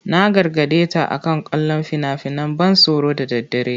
Na gargade ta akan kallon fina-finan ban tsoro da daddare.